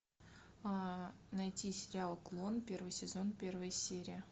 найти сериал клон первый сезон первая серия